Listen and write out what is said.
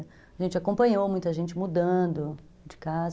A gente acompanhou muita gente mudando de casa.